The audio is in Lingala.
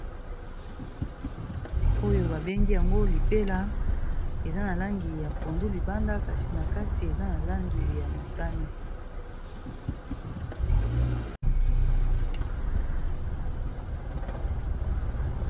Oyo babengi yango lipela eza na langi ya pondu libanda kasi na kati eza na langi ya motani.